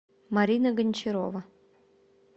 марина гончарова